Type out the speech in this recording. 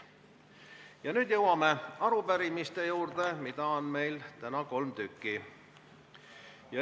Ja nüüd jõuame arupärimiste juurde, mida on meil täna kolm tükki.